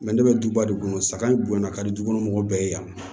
ne bɛ duba de kɔnɔ saga in bonyana ka di juguni mɔgɔw bɛɛ ye yan